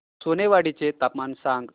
सोनेवाडी चे तापमान सांग